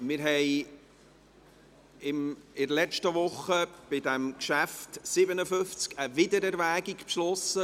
Wir haben in der letzten Woche bei Geschäft 57 eine Wiedererwägung beschlossen.